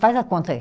Faz a conta aí.